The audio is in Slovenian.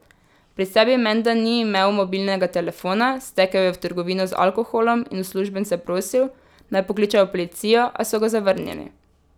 Pri sebi menda ni imel mobilnega telefona, stekel je v trgovino z alkoholom in uslužbence prosil, naj pokličejo policijo, a so ga zavrnili.